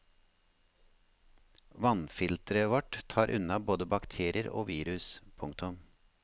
Vannfilteret vårt tar unna både bakterier og virus. punktum